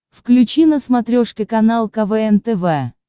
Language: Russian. включи на смотрешке канал квн тв